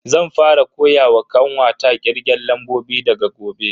Zan fara koyawa kanwata kirgen lambobi daga gobe.